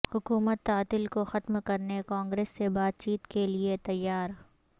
حکومت تعطل کو ختم کرنے کانگریس سے بات چیت کے لئے تیار